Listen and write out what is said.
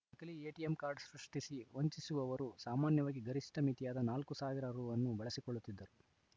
ನಕಲಿ ATM card ಸೃಷ್ಟಿಸಿ ವಂಚಿಸುವವರು ಸಾಮಾನ್ಯವಾಗಿ ಗರಿಷ್ಠ ಮಿತಿಯಾದ ನಾಲ್ಕು ಸಾವಿರ ರು ಅನ್ನು ಬಳಸಿಕೊಳ್ಳುತ್ತಿದ್ದರು